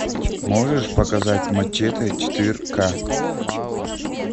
можешь показать мачете четыре ка